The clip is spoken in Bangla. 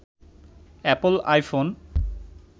Apple iPhone